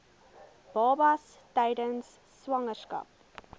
babas tydens swangerskap